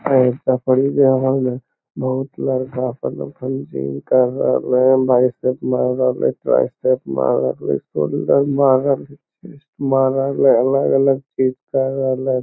ए बहुत लड़का अलग-अलग चीज कर रहल हेय।